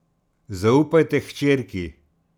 Zaupajte hčerki.